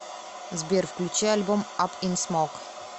сбер включи альбом ап ин смок